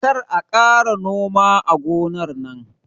Kar a ƙara noma a gonar nan